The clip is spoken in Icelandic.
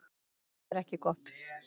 Það er ekki gott